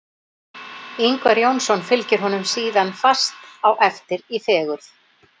Ingvar Jónsson fylgir honum síðan fast á eftir í fegurð.